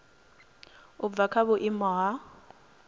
u bva kha vhuimo ha